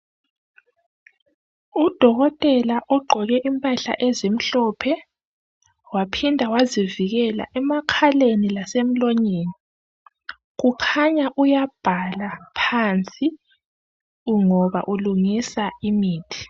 Udokotela oqoke impahla ezimhlophe waphinda wazivikela ema khaleni lasemlonyeni, kukhanya uyabhala phansi ngoba ulungisa imithi.